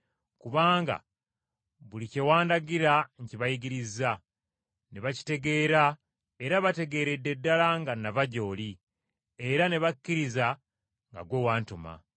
kubanga buli kye wandagira nkibayigirizza ne bakitegeera era bategeeredde ddala nga nava gy’oli, era ne bakkiriza nga ggwe wantuma.